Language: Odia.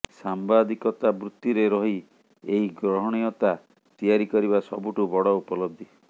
ସାମ୍ବାଦିକତା ବୃତ୍ତିରେ ରହି ଏହି ଗ୍ରହଣୀୟତା ତିଆରି କରିବା ସବୁଠୁ ବଡ଼ ଉପଲବ୍ଧି